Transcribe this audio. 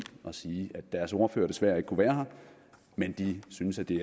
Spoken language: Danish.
og sige at deres ordfører desværre ikke kunne være her men de synes at det